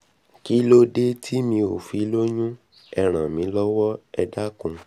kílódé tí mi ò fi lóyún ẹ ràn mí lọ́wọ́ ẹ dákun